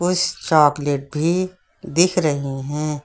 कुछ चॉकलेट भी दिख रही हैं।